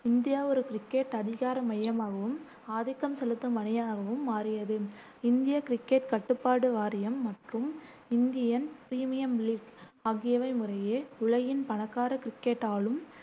India ஒரு cricket அதிகார மையமாகவும், ஆதிக்கம் செலுத்தும் அணியாகவும் மாறியது. இந்திய கிரிக்கெட் கட்டுப்பாட்டு வாரியம் மற்றும் இந்தியன் பிரீமியம் லீக் ஆகியவை முறையே உலகின் பணக்கார கிரிக்கெட் ஆளும்